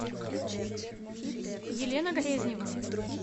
елена грезнева